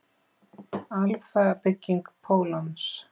Alfa-bygging pólons.